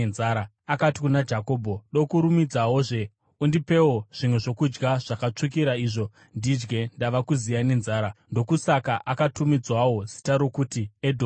Akati kuna Jakobho, “Dokurumidzawozve, undipewo zvimwe zvokudya zvakatsvukira izvo ndidye! Ndava kuziya nenzara!” (Ndokusaka akatumidzwawo zita rokuti Edhomu).